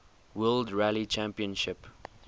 world rally championship